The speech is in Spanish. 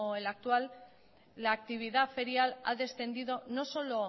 el actual la actividad ferial ha descendido no solo